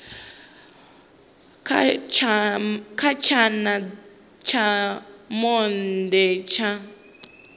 kha tshana tsha monde tsha